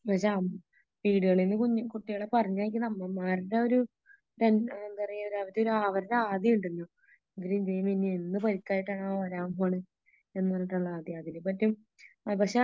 പക്ഷേ വീടുകളിലും കുഞ്ഞി കുട്ടികളെ പറഞ്ഞയാക്കുന്ന അമ്മമാരുടെ ഒരു ടെന് എന്താ പറയാ അവരുടെ ആദിയുണ്ടല്ലോ അവര് ഇനി എന്തു പരിക്കായിട്ടാണൊ വരാന് പോകുന്നത് എന്ന് പറഞ്ഞിട്ടുള്ള ആദി പക്ഷേ